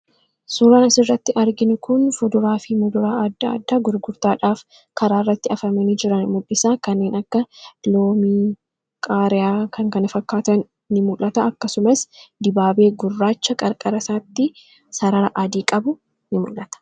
Suuraan asirratti arginu kun fuduraa fi muduraa adda addaa gurgurtaadhaaf karaa irratti afamani jiran mul'isa. Kanneen akka loomii, qaariyaa fi kan kana fakkaatan ni mul'ata. Akkasumas dibaabee gurraacha qarqara isaatti sarara adii qabu ni mul'ata.